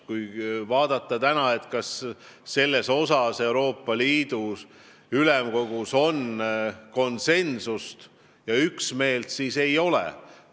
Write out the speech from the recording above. Kui vaadata, kas selles osas on Euroopa Ülemkogus praegu konsensust, üksmeelt, siis ei ole.